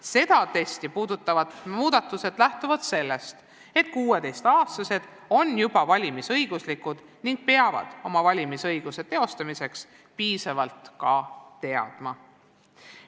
Seda testi puudutavad muudatused lähtuvad sellest, et 16-aastased on juba valimisõiguslikud ning peavad oma valimisõiguse teostamiseks piisavalt ka teadma.